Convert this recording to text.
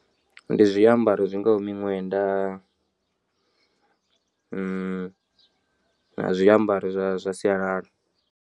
Ndi zwiambaro zwingaho miṅwenda na zwiambaro zwa zwa sialala.